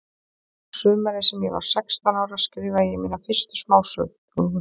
Sumarið sem ég var sextán ára skrifaði ég mína fyrstu smásögu.